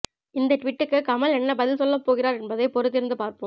இந்த டுவீட்டுக்கு கமல் என்ன பதில் சொல்ல போகிறார் என்பதை பொறுத்திருந்து பார்ப்போம்